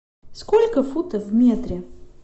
сколько футов в метре